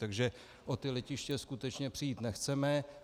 Takže o ta letiště skutečně přijít nechceme.